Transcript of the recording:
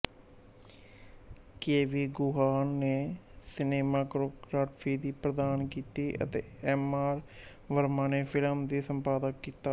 KV Guhan ਨੇ cinematography ਪ੍ਰਦਾਨ ਕੀਤੀ ਅਤੇ ਐਮਆਰ ਵਰਮਾ ਨੇ ਫਿਲਮ ਦਾ ਸੰਪਾਦਨ ਕੀਤਾ